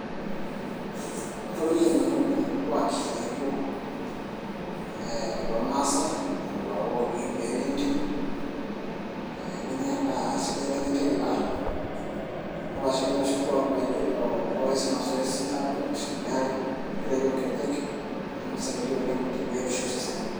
atobikie nanu oleng irkuaki laijo ee lormaasay loowoki irkeek lentim ee nenyae endaa aa sidai nemetii iila arashu irkuaki laijo loosi masoesi aakwet neeri mpirai oonkejek naa kisaidia oleng te biotisho osesen.